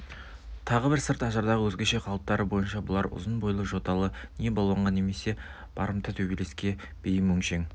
тағы бір сырт ажардағы өзгеше қалыптары бойынша бұлар ұзын бойлы жоталы не балуанға немесе барымта төбелеске бейім өңшең